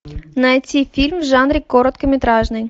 найти фильм в жанре короткометражный